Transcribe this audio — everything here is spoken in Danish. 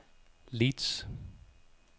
Leeds